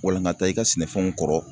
Walankata i ka sɛnɛfɛnw kɔrɔ